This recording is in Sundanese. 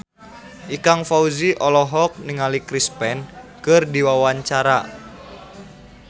Ikang Fawzi olohok ningali Chris Pane keur diwawancara